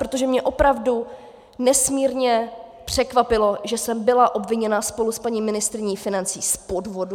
Protože mě opravdu nesmírně překvapilo, že jsem byla obviněna spolu s paní ministryní financí z podvodu.